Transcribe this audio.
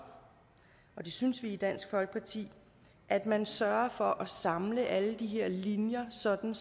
og det synes vi i dansk folkeparti at man sørger for at samle alle de her linjer sådan